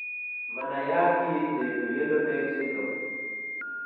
Manayat kiit neibu Yellow nail syndrome